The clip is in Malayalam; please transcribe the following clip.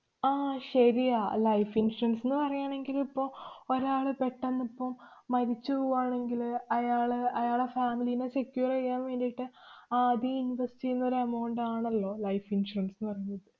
ആഹ് ശരിയാ, life insurance ന്ന് പറയാണെങ്കിലിപ്പോ ഒരാള് പെട്ടന്നിപ്പം മരിച്ചു പോവാണെങ്കില് അയാള് അയാടെ family ലീനെ secure എയ്യാന്‍ വേണ്ടീട്ട് ആദ്യം invest ചെയ്യുന്നൊരെ amount ആണല്ലോ life insurance ന്ന് പറഞ്ഞിട്ട്